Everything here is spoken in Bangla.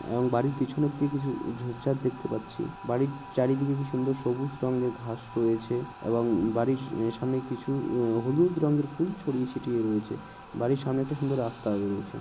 এবং বাড়ির পিছন দিকে কিছু ঝোপ ঝাড় দেখতে পাচ্ছি। বাড়ির চারিদিকে কি সুন্দর সবুজ রঙের ঘাস রয়েছে এবং বাড়ির এ সামনে কিছু হলুদ রঙের ফুল ছড়িয়ে ছিটিয়ে রয়েছে । বাড়ির সামনে একটি সুন্দর রাস্তা রয়েছে।